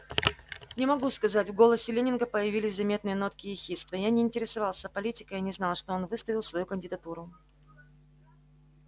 не могу сказать в голосе лэннинга появились заметные нотки ехидства я не интересовался политикой и не знал что он выставил свою кандидатуру